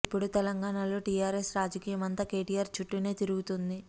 ఇప్పుడు తెలంగాణ లో టీఆర్ఎస్ రాజకీయం అంతా కేటీఆర్ చుట్టూనే తిరుగుతోంది